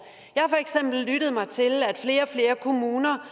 eksempel lyttet mig til at flere og flere kommuner